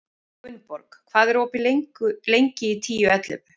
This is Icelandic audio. Gunnborg, hvað er opið lengi í Tíu ellefu?